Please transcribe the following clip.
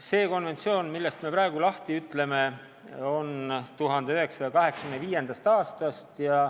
See konventsioon, millest me praegu lahti ütleme, on 1985. aastast.